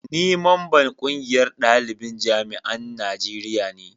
ni mamban ƙungiyar dalibin jami'an najeriya ne